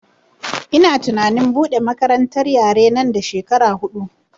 Ina tunanin buɗe makarantar yare nan da shekara huɗu